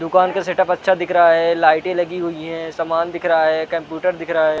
दुकान का सेटअप अच्छा दिख रहा है लाइटे लगी हुई है समान दिख रहा है कंप्यूटर दिख रहा है ।